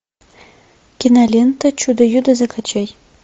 кинолента чудо юдо закачай